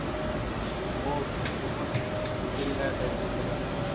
हो खूपच केलेल आहे त्यांनी देशासाठी